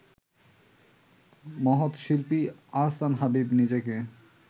মহৎ শিল্পী আহসান হাবীব নিজেকে